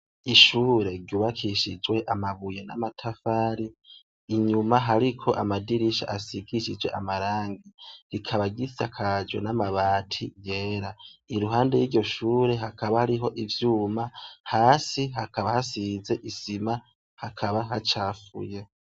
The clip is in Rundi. Ishure ryubakishijwe amabuye n'amatafari, inyuma hariko amadirisha asigishije amarangi, rikaba gisa kajo n'amabati yera iruhande ry'iryo shure hakaba hariho ivyuma, hasi hakaba hasize isima hakaba hacafuye.